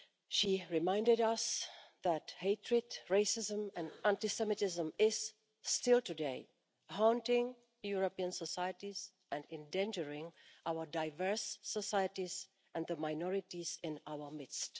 She reminded us that hatred, racism and anti Semitism is still today haunting European societies and endangering our diverse societies and the minorities in our midst.